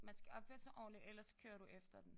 Man skal opføre sig ordentligt ellers kører du efter dem